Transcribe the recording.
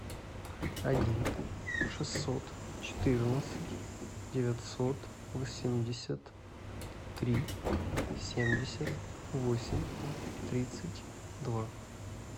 один шестьсот четырнадцать девятьсот восемьдесят три семьдесят восемь тридцать два